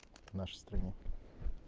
нашей стране